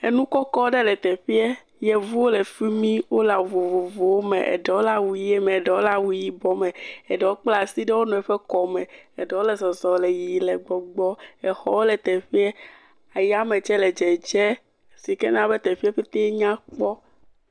Enukɔkɔ ɖe le teƒea. Yevuwo le fi mie. Wole awu vovovowo me eɖewo le awu ʋie me, eɖewo le awu yibɔ me. Eɖewo kpla asi ɖe wo nɔewo ƒe kɔme. Eɖewo le zɔzɔm le yiyim le gbɔgbɔ. Exɔwo le teƒea. Eya me tse le dzedze si ke na be teƒeawo pɛte nya kpɔ.